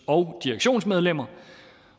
og direktionsmedlemmer